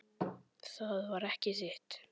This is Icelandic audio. Það var ekki þitt.